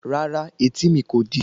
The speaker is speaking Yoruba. Rárá, etí mi kò di